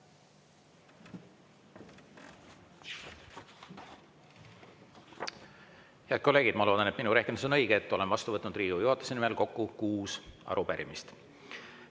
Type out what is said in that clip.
Head kolleegid, ma loodan, et minu rehkendus on õige, et olen vastu võtnud Riigikogu juhatuse nimel kokku kuus arupärimist.